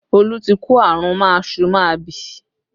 Olu tí kó àrùn máasu-máabì